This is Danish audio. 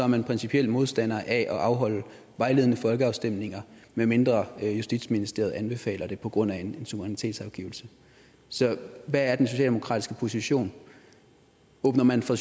man principiel modstander af at afholde vejledende folkeafstemninger medmindre justitsministeriet anbefaler det på grund af en suverænitetsafgivelse så hvad er den socialdemokratiske position åbner man fra